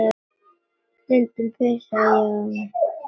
Stundum pissaði ég á mig.